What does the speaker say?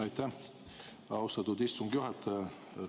Aitäh, austatud istungi juhataja!